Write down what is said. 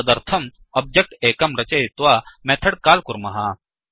तदर्थम् ओब्जेक्ट् एकं रचयित्वा मेथड् काल् कुर्मः